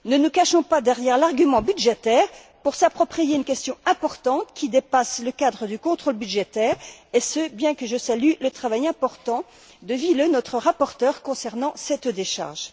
Ne nous cachons pas derrière l'argument budgétaire pour s'approprier une question importante qui dépasse le cadre du contrôle budgétaire, et ce bien que je salue le travail important de Ville, notre rapporteur, concernant cette décharge.